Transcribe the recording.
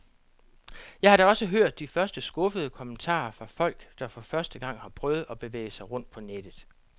Jeg har da også hørt de første skuffede kommentarer fra folk, der for første gang har prøvet at bevæge sig rundt på nettet.